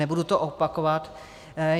Nebudu to opakovat.